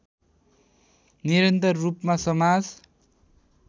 निरन्तर रूपमा समाज